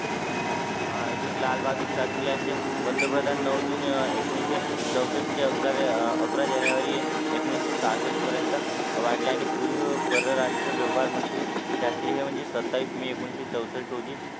हा अजून लाल बहादूर शास्त्री यांचे पंतप्रधान नऊ जून अह एकोणीशे चौसष्ठ अकरा जानेवारी एकोणीशे सहासष्ठ पर्यंत वाढले आणि पूर्वी परराष्ट्रीय व्यवहार मंत्री शास्त्रीय म्हणजे सत्तावीस मे एकोणीशे चौसष्ठ रोजी